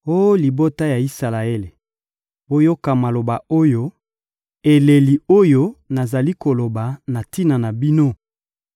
Oh libota ya Isalaele, boyoka maloba oyo, eleli oyo nazali koloba na tina na bino: